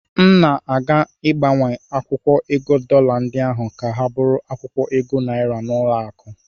M na-aga ịgbanwe akwụkwọ ego dọla ndị ahụ ka ha bụrụ akwụkwọ ego naịra n'ụlọakụ.